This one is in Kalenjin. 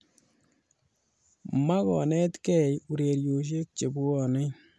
"Makonetegei ureriosyek chebwonei ."